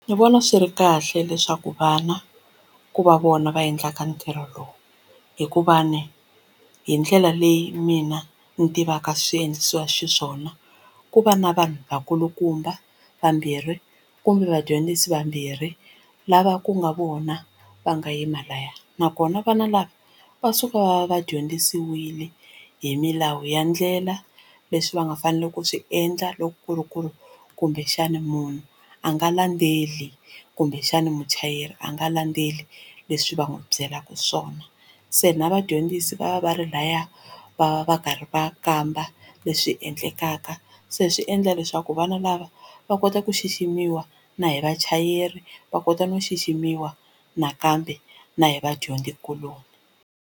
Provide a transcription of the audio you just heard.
Ndzi vona swi ri kahle leswaku vana ku va vona va endlaka ntirho lowu hikuva ni hi ndlela leyi mina ni tivaka swi endlisiwa xiswona ku va na vanhu vakulukumba vambirhi kumbe vadyondzisi vambirhi lava ku nga vona va nga yima laya nakona vana lava va suka va va dyondzisiwile hi milawu ya ndlela leswi va nga faneliki ku swi endla loko ku ri ku ri kumbexana munhu a nga landzeli kumbexana muchayeri a nga landzeli leswi va n'wi byelaka swona se na vadyondzisi va va va ri laya va va va karhi va kamba leswi endlekaka se swi endla leswaku vana lava va kota ku xiximiwa na hi vachayeri va kota no xiximiwa nakambe na hi vadyondzikuloni.